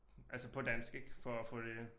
Altså på dansk ik for at få det